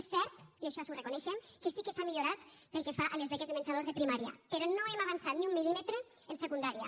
és cert i això ho reconeixem que sí que s’ha millorat pel que fa a les beques de menjador de primària però no hem avançat ni un mil·límetre en secundària